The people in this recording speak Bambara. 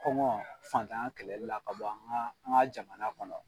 Kɔngɔ fantanya kɛlɛli la ka bɔ an ka jamana kɔnɔ.